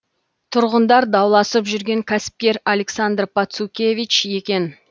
тұрғындар дауласып жүрген кәсіпкер александр пацукевич екен